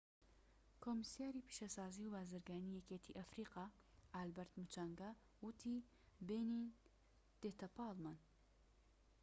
کۆمیسیاری پیشەسازی و بازرگانیی یەکێتی ئەفریقا ئالبەرت موچانگا وتی بێنین دێتە پاڵمان